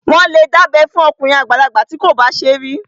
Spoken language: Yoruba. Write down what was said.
Wọ́n lè dábẹ́ fún okùnrin àgbàlagbà bí kò bá tíì ṣe rí